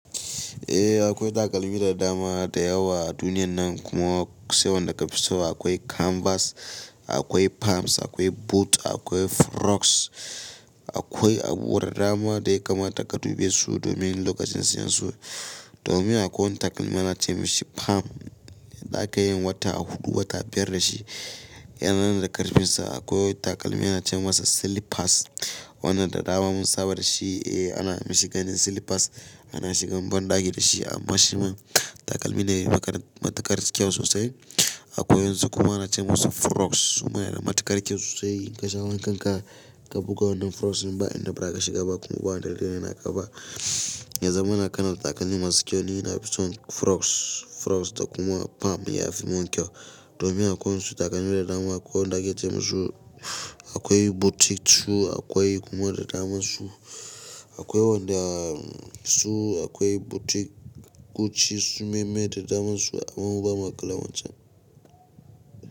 Eh akwai takalmi da dama da yawa a duniyan nan kuma sai wanda ka fi so. Akwai canvas, akwai pumps, akwai boot, akwai froks, akwai abu da dama da ya kamata ka dubi su domin lokacin siyansu. Domin akwai wani takalmi ana ce masa pum, zaka iya yin wata a huɗu wata a biyar da shi. Yana nan da ƙarfin sa. Akwai wani takalmi ana ce masa silipas. Wannan da dama mun saba da shi. Eh ana mashi gani silipas. Ana shigan banɗaki da shi amma shi ma takalmi ne matuƙar kyau sosai. Akwai wa insu kuma ana ce masa froks. Suma yana matuƙar kyau sosai. In ka sha wankan ka, ka buga wannan froksin ba inda ba ka shiga ba kuma ba wanda zai re na ka ba. Yaza mana kana da takalmi masu kyau ni. Na fi son froks froks da kuma pum. Ya fi mun kyau. Domin akwai su takalmi da dama akwai wanda aka ce masu akwai boutique su akwai kuma da dama su akwai wanda su akwai boutique Gucci su meye meye da daman su amma bamu kula wancan.